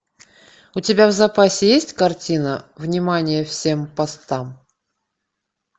у тебя в запасе есть картина внимание всем постам